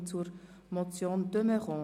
Wir kommen zur Motion de Meuron.